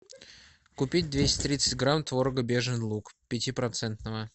купить двести тридцать грамм творога бежин луг пяти процентного